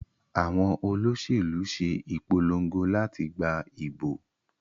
Àwọn Olóṣèlú ṣe ìpolongo láti gbà ìbò